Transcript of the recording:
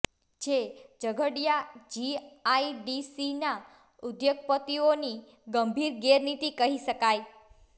જે ઝઘડિયા જીઆઈડીસીના ઉદ્યોગપતિઓ ની ગંભીર ગેરરીતિ કહી શકાય